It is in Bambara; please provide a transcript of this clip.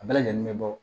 A bɛɛ lajɛlen be bɔ